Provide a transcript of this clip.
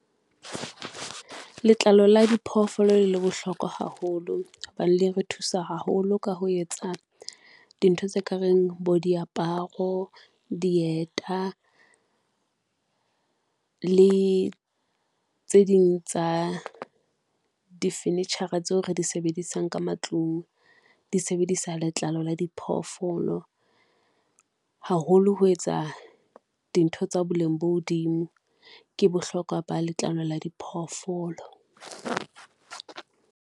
Letlalo la diphoofolo le bohlokwa haholo, hobane le re thusa haholo ka ho etsa dintho tse ka reng bo diaparo, dieta le tse ding tsa difenetshara tseo re di sebedisang ka matlung, di sebedisa letlalo la diphoofolo. Haholo ho etsa dintho tsa boleng bo hodimo ke bohlokwa ba letlalo la diphoofolo.